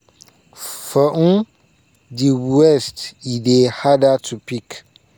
"for um di west e dey harder to pick.